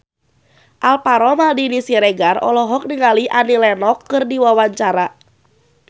Alvaro Maldini Siregar olohok ningali Annie Lenox keur diwawancara